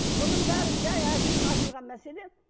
бұның бәрі жай айтылған мәселе